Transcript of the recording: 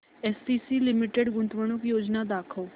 ACC limited गुंतवणूक योजना दाखव